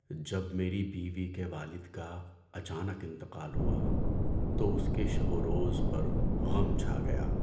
‏جب میری بیوی کے والد کا اچانک انتقال ہوا تو اس کے شب و روز پر غم چھا گیا۔